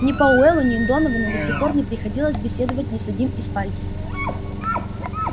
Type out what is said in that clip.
ни пауэллу ни доновану до сих пор не приходилось беседовать ни с одним из пальцев